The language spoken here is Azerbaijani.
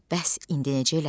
Bəs indi necə eləsin?